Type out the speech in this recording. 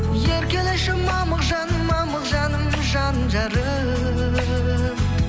еркелеші мамық жаным мамық жаным жан жарым